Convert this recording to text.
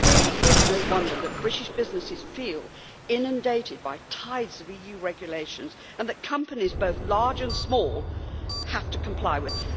It really is no wonder that British businesses feel inundated by the tides of EU regulations that companies both large and small have to comply with.